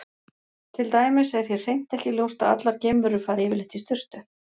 Til dæmis er hér hreint ekki ljóst að allar geimverur fari yfirleitt í sturtu.